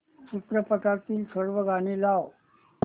चित्रपटातील सर्व गाणी लाव